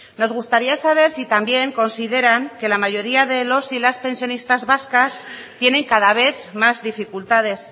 nos gustaría saber si también consideran que la mayoría de los y las pensionistas vascas tienen cada vez más dificultades